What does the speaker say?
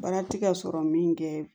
Baara ti ka sɔrɔ min kɛ